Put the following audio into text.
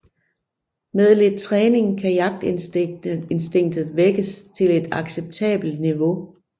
Med lidt træning kan jagtinstinktet vækkes til et acceptabelt niveau